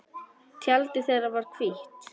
Tjaldið þeirra var hvítt.